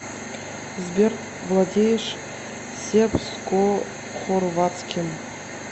сбер владеешь сербскохорватским